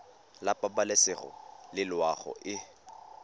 la pabalesego le loago e